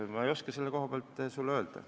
Ma ei oska sulle selle koha pealt midagi öelda.